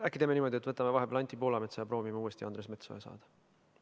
Äkki teeme niimoodi, et võtame vahepeal Anti Poolametsa ja proovime siis uuesti Andres Metsoja ekraanile saada.